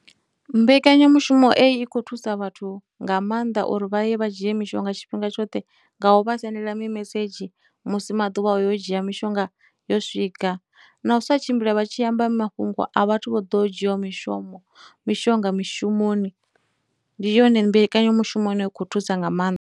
Mbekanyamushumo eyi khou thusa vhathu nga maanḓa uri vha ye vha dzhie mishonga tshifhinga tshoṱhe nga u vha sendela mimesedzhi musi maḓuvha o yo u dzhia mishonga yo swika, na u sa tshimbila vha tshi amba mafhungo a vhathu vho ḓo dzhiaho mishomo, mishonga mishumoni, ndi yone mbekanyamushumo i no khou thusa nga ma.